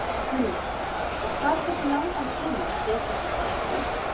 Hugrún: Og hvað tekur langan tíma að setja þetta allt upp?